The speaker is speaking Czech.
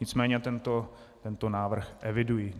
Nicméně tento návrh eviduji.